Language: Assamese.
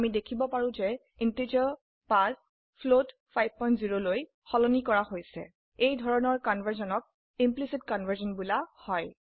আমি দেখিব পাৰো যে ইন্টিজাৰ 5 ফ্লোট 50 লৈ সলনি কৰা হৈছে এই ধৰনে কনভাৰ্সনক ইমপ্লিসিট কনভাৰ্সন বোলা হয়